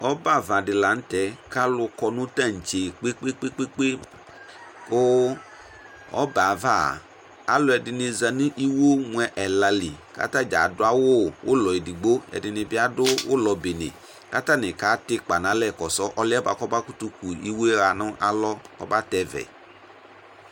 Ɔbɛ ava dɩ la nʋ tɛ kʋ alʋ kɔ nʋ taŋtse kpe-kpe-kpe kʋ ɔbɛ yɛ ava, alʋɛdɩnɩ za nʋ iwo mʋ ɛla li kʋ ata dza adʋ awʋ ʋlɔ edigbo, ɛdɩnɩ bɩ adʋ ʋlɔ bene kʋ atanɩ katɛ ɩkpa nʋ alɛ kɔsʋ ɔlʋ yɛ bʋa kʋ ɔmakʋtʋ ku iwo yɛ ɣa nʋ alɔ Ɔbatɛvɛ